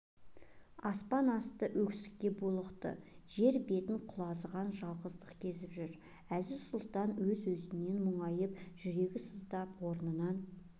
аспан асты өксікке булықты жер бетін құлазыған жалғыздық кезіп жүр әзиз-сұлтан өз-өзінен мұңайып жүрегі сыздап орнынан